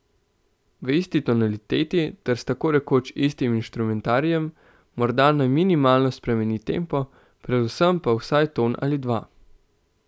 V isti tonaliteti ter s tako rekoč istim inštrumentarijem, morda naj minimalno spremeni tempo, predvsem pa vsaj ton ali dva.